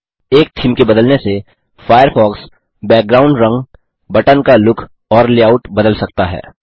एक थीम के बदलने से फ़ायरफ़ॉक्स बैकग्राउंड रंग बटन का लुक और लेआउट बदल सकता है